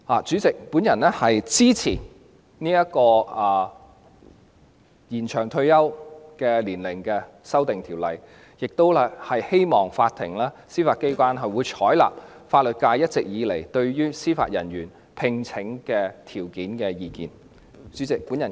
主席，我支持《2019年司法人員條例草案》，亦希望法庭及司法機構會採納法律界一直以來就司法人員聘任條件所提出的意見。